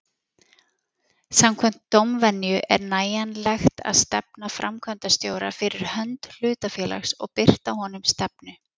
Samkvæmt dómvenju er nægjanlegt að stefna framkvæmdastjóra fyrir hönd hlutafélags og birta honum stefnu.